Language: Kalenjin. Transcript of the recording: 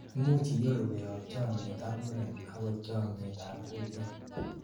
imuchi inyoru koyob chomnyet ak muren akot chomnyet ab gutit